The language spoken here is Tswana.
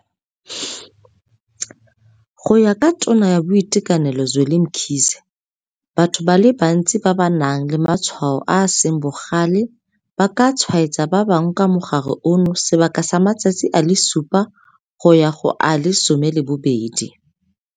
Go ya ka Tona ya Boitekanelo Zweli Mkhize, batho ba le bantsi ba ba nang le matshwao a a seng bogale ba ka tshwaetsa ba bangwe ka mogare ono sebaka sa matsatsi a le supa go ya go a le 12.